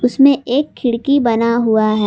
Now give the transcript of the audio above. उसमें एक खिड़की बना हुआ है।